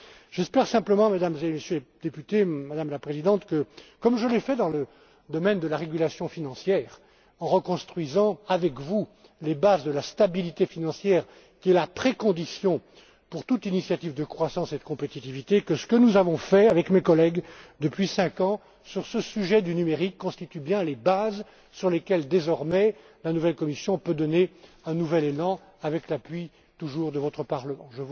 volontaire. J'espère simplement, Mesdames et Messieurs les députés, Madame la Présidente comme je l'ai fait dans le domaine de la régulation financière, en reconstruisant avec vous les bases de la stabilité financière, qui est la condition préalable pour toute initiative de croissance et de compétitivité que ce que nous avons fait avec mes collègues depuis cinq ans, sur ce sujet du numérique, constitue bien les bases sur lesquelles, désormais, la nouvelle Commission peut donner un nouvel élan, avec l'appui, toujours, de votre Parlement.